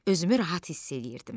Özümü rahat hiss eləyirdim.